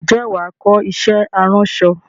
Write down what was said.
Ǹjẹ́ wàá kọ iṣẹ́ aránṣọ?